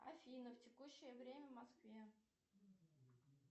афина текущее время в москве